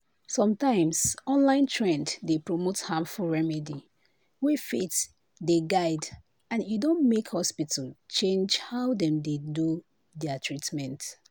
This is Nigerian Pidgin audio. sometimes online trend dey promote harmful remedy wey faith dey guide and e don make hospital change how dem dey do their treatment."